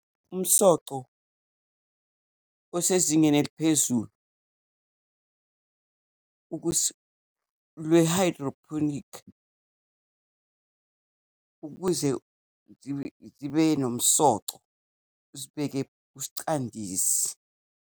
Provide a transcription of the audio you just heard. Umsoco osezingeni eliphezulu lwe-hydroponic ukuze zibe nomsoco, uzibeke uscandisi.